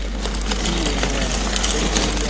জি হ্যাঁ সেই